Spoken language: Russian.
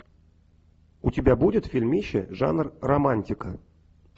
у тебя будет фильмище жанр романтика